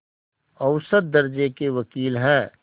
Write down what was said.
औसत दर्ज़े के वक़ील हैं